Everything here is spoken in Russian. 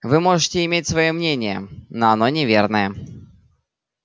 вы можете иметь своё мнение но оно неверное